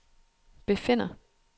befinder